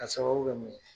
K'a sababu kɛ mun ye